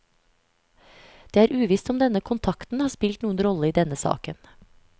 Det er uvisst om denne kontakten har spilt noen rolle i denne saken.